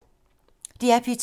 DR P2